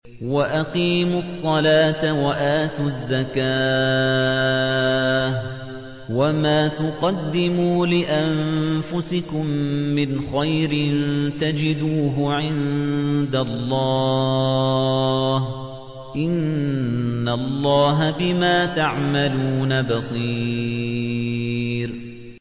وَأَقِيمُوا الصَّلَاةَ وَآتُوا الزَّكَاةَ ۚ وَمَا تُقَدِّمُوا لِأَنفُسِكُم مِّنْ خَيْرٍ تَجِدُوهُ عِندَ اللَّهِ ۗ إِنَّ اللَّهَ بِمَا تَعْمَلُونَ بَصِيرٌ